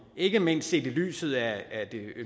ikke mindst set i lyset af det